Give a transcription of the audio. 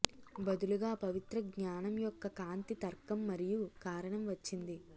బదులుగా పవిత్ర జ్ఞానం యొక్క కాంతి తర్కం మరియు కారణం వచ్చింది